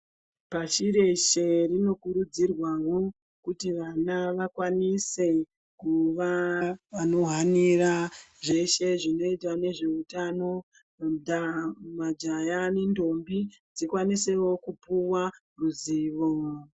Pashireshe rinokurudzirwawo kuti vana vakwanise kuva vanohanira zveshe zvinoita nezveutano Ndaa majaya nendombi dzikwanisewo kupiwa ruzivo.